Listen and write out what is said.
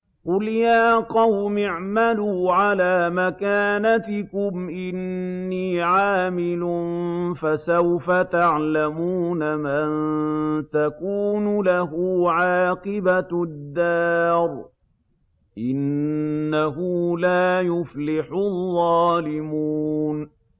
قُلْ يَا قَوْمِ اعْمَلُوا عَلَىٰ مَكَانَتِكُمْ إِنِّي عَامِلٌ ۖ فَسَوْفَ تَعْلَمُونَ مَن تَكُونُ لَهُ عَاقِبَةُ الدَّارِ ۗ إِنَّهُ لَا يُفْلِحُ الظَّالِمُونَ